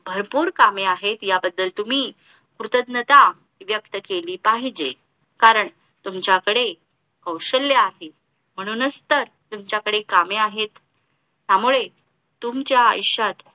भरपूर कामे आहेत या बद्दल तुम्ही कृतज्ञता व्यक्त केली पाहिजे कारण तुमच्याकडे कौशल्य आहे म्हणूनच तर तुमच्याकडे कामे आहे त्यामुळे तुमच्या आयुष्यात